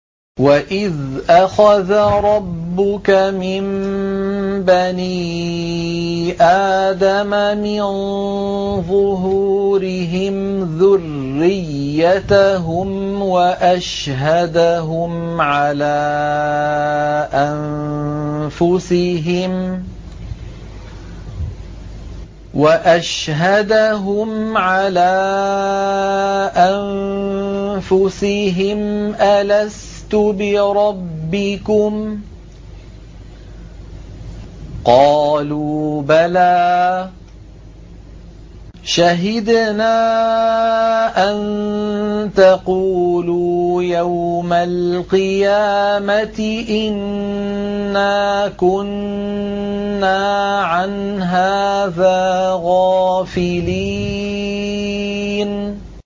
وَإِذْ أَخَذَ رَبُّكَ مِن بَنِي آدَمَ مِن ظُهُورِهِمْ ذُرِّيَّتَهُمْ وَأَشْهَدَهُمْ عَلَىٰ أَنفُسِهِمْ أَلَسْتُ بِرَبِّكُمْ ۖ قَالُوا بَلَىٰ ۛ شَهِدْنَا ۛ أَن تَقُولُوا يَوْمَ الْقِيَامَةِ إِنَّا كُنَّا عَنْ هَٰذَا غَافِلِينَ